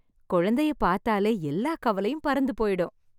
குழந்தையை பார்த்தாலே எல்லா கவலையும் பறந்து போயிடும்.